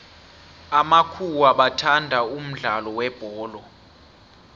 amakhuwa bathanda umudlalo webholo